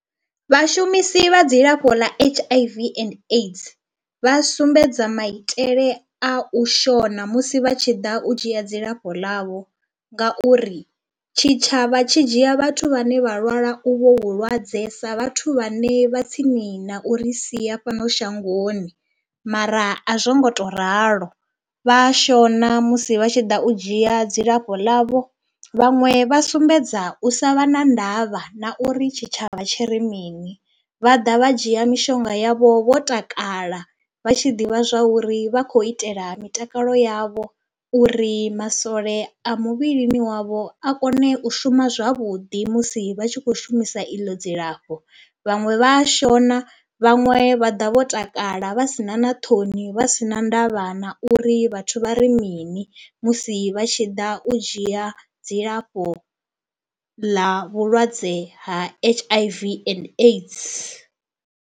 Vhashumisi vha dzilafho ḽa H_I_V and AIDS vha sumbedza maitele a u shona musi vha tshi ḓa u dzhia dzilafho ḽavho ngauri tshitshavha tshi dzhia vhathu vhane vha lwala uvho vhulwadze sa vhathu vhane vha tsini na uri sia fhano shangoni mara a zwo ngo tou ralo. Vha a shona musi vha tshi ḓa u dzhia dzilafho ḽavho, vhaṅwe vha sumbedza u sa vha na ndavha na uri tshitshavha tshi ri mini, vha ḓa vha dzhia mishonga yavho vho takala, vha tshi ḓivha zwa uri vha khou itela mitakalo yavho uri masole a muvhili wavho a kone u shuma zwavhuḓi musi vha tshi khou shumisa iḽo dzilafho. Vhaṅwe vha a shona, vhaṅwe vha ḓa vho takala vha si na na ṱhoni vha si na ndavha na uri vhathu vha ri mini musi vha tshi ḓa u dzhia dzilafho ḽa vhulwadze ha H_I_V and AIDS.